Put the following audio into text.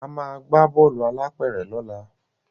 Ama gbà Bọ́ọ̀lù alápẹ̀rẹ̀ lọla.